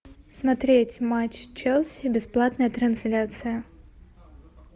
смотреть матч челси бесплатная трансляция